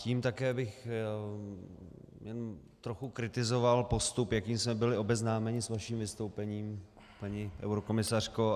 Tím také bych trochu kritizoval postup, jakým jsme byli obeznámeni s vaším vystoupením, paní eurokomisařko.